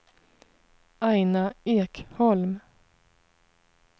Aina Ekholm